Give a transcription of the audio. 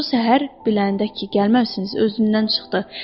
Bu səhər biləndə ki gəlməmisiniz, özündən çıxdı.